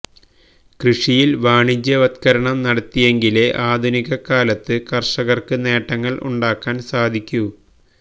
കൃഷിയില് വാണിജ്യവത്കരണം നടത്തിയെങ്കിലേ ആധുനികകാലത്ത് കര്ഷകര്ക്ക് നേട്ടങ്ങള് ഉണ്ടാക്കാന് സാധിക്കൂ